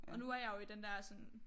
Og nu er jeg jo i den der sådan